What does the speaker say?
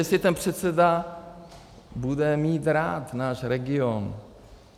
Jestli ten předseda bude mít rád náš region.